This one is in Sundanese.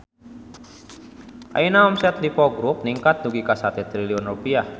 Ayeuna omset Lippo Grup ningkat dugi ka 1 triliun rupiah